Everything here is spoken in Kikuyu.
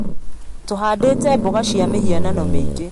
Tũhandĩte mboga cia mĩhianano mĩingĩ